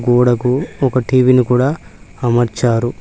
గోడకు ఒక టీవీ ని కూడా అమర్చారు.